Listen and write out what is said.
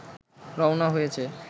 রওনা হয়েছে